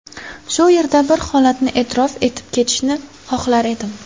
Shu yerda bir holatni e’tirof etib ketishni xohlar edim.